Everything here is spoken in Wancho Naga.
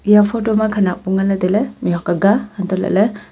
eya photo ma khanak bu ngan ley tai ley mih huat aga hantoh lah ley --